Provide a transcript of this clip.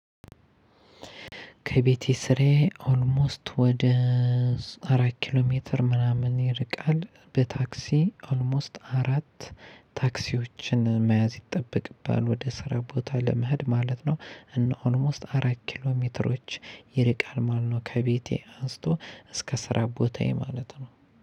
ከቤቴ ስራዬ ኦልሞስት ወደ አራት ኪሎ ሜትር ምናምን ይርቃል በታክሲ ኦልሞስት አራት ታክሲዎችን መያዝ ይጠበቅብሃል ወደ ስራ ቦታ ለመሄድ ማለት ነው። እና ኦልሞስት አራት ኪሎ ሜትሮች ይርቃል ማለት ነው። ከቤቴ አንስቶ እስከ ስራ ቦታዬ ማለት ነው።